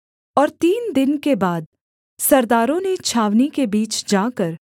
और तीन दिन के बाद सरदारों ने छावनी के बीच जाकर